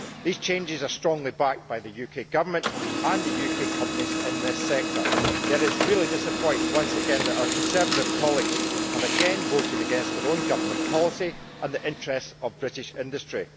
These changes are strongly backed by the UK Government and the UK companies in this sector, yet it is really disappointing that our Conservative colleagues have once again voted against their own government policy and the interest of British industry.